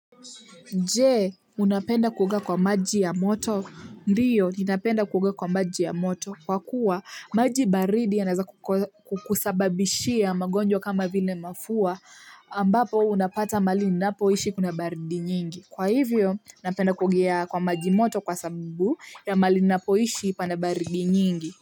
Je, unapenda kuoga kwa maji ya moto. Ndiyo, ninapenda kuoga kwa maji ya moto. Kwa kuwa, maji baridi yanaeza kukusababishia magonjwa kama vile mafua ambapo unapata mahali ninapoishi kuna baridi nyingi. Kwa hivyo, napenda kuogea kwa maji moto kwa sababu ya mahali ninapoishi kuna baridi nyingi.